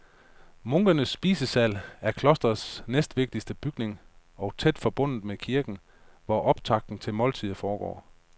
Munkenes spisesal er klostrets næstvigtigste bygning og tæt forbundet med kirken, hvor optakten til måltidet foregår.